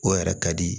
O yɛrɛ ka di